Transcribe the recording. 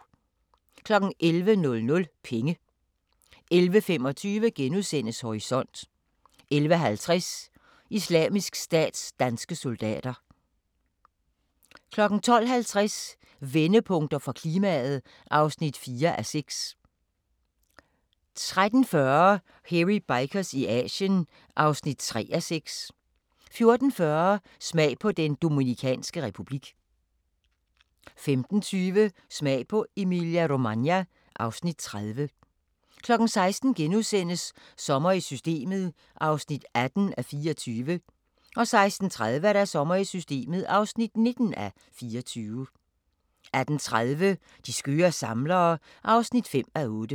11:00: Penge 11:25: Horisont * 11:50: Islamisk Stats danske soldater 12:50: Vendepunkter for klimaet (4:6) 13:40: Hairy Bikers i Asien (3:6) 14:40: Smag på Den Dominikanske Republik 15:20: Smag på Emilia-Romagna (Afs. 30) 16:00: Sommer i Systemet (18:24)* 16:30: Sommer i Systemet (19:24) 18:30: De skøre samlere (5:8)